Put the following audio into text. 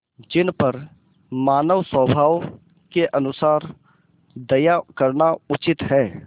जिन पर मानवस्वभाव के अनुसार दया करना उचित है